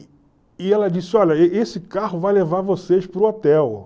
E ela disse, olha, e esse carro vai levar vocês para o hotel.